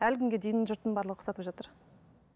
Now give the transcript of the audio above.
әлі күнге дейін жұрттың барлығы ұқсатып жатыр